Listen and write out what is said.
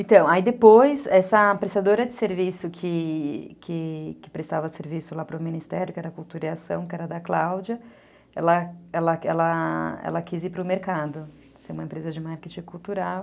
Então, aí depois, essa prestadora de serviço que que que prestava serviço lá para o Ministério, que era a Cultura e Ação, que era da Cláudia, ela quis ir para o mercado, ser uma empresa de marketing cultural.